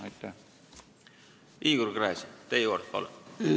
Igor Gräzin, teie kord, palun!